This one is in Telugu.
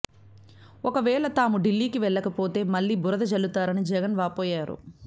ఒకవేళ తాము ఢిల్లీకి వెళ్లకపోతే మళ్లీ బురద జల్లుతారని జగన్ వాపోయారు